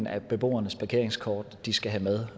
af beboernes parkeringskort de skal have med